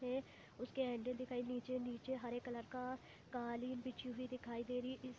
तो उसके निचे निचे हरे कलर का कालीन बिछी हुई दिखाई दे रही इ --